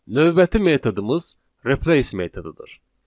Növbəti metodumuz replace metodudur.